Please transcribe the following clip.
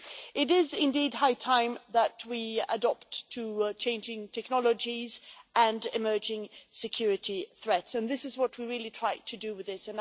It is indeed high time that we adapt to changing technologies and emerging security threats, and this is what we are trying to do with this.